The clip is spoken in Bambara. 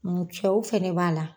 cɛw fɛnɛ b'a la.